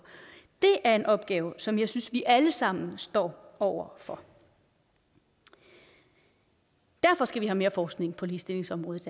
det er en opgave som jeg synes vi alle sammen står over for og derfor skal vi have mere forskning på ligestillingsområdet